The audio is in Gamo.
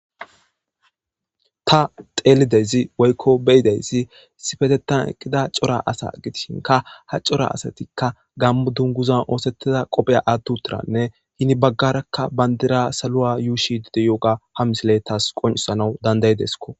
Ta xelizayssa woyko be'idaysi issippetethan eqidacora asa gidishinka ha cora asatika gamo dunguza oosetida qopiya ati wothidanne heni baga bandiriya saluwa yushidi de'iyoga ha misiley tas qoncizays fanda'idesiko.